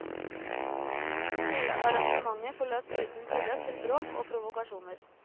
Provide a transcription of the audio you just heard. Hele arrangementet forløp uten tilløp til bråk og provokasjoner.